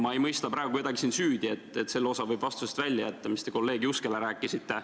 Ma ei mõista kedagi siin praegu süüdi, selle osa võib vastusest välja jätta, mis te kolleeg Juskele rääkisite.